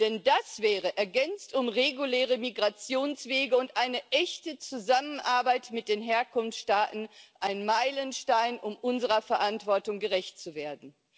Denn das wäre, ergänzt um reguläre Migrationswege und eine echte Zusammenarbeit mit den Herkunftsstaaten, ein Meilenstein, um unserer Verantwortung gerecht zu werden.